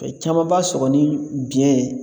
caman b'a sɔgɔ ni biyɛn